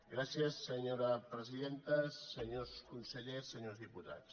gràcies senyora presidenta senyors consellers se·nyors diputats